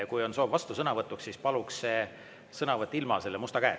Kui on soov vastusõnavõtuks, siis paluks see sõnavõtt ilma musta käeta.